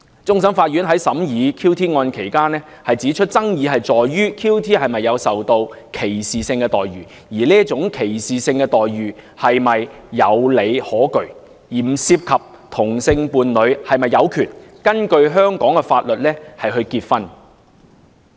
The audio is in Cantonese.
終審法院在審理 QT 案期間，指出爭議在於 QT 是否受到歧視性待遇，而這種歧視性待遇是否有理可據，並不涉及同性伴侶是否有權根據香港法律結婚。